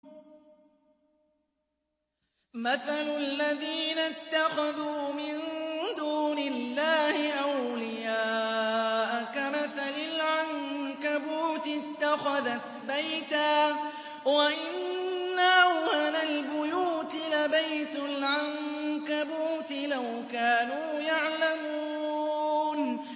مَثَلُ الَّذِينَ اتَّخَذُوا مِن دُونِ اللَّهِ أَوْلِيَاءَ كَمَثَلِ الْعَنكَبُوتِ اتَّخَذَتْ بَيْتًا ۖ وَإِنَّ أَوْهَنَ الْبُيُوتِ لَبَيْتُ الْعَنكَبُوتِ ۖ لَوْ كَانُوا يَعْلَمُونَ